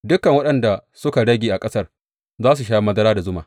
Dukan waɗanda suka rage a ƙasar za su sha madara da zuma.